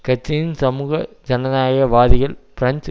கட்சியின் சமூக ஜனநாயக வாதிகள் பிரெஞ்சு